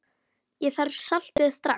Ég þarf saltið strax.